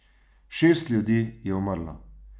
Šest ljudi je umrlo.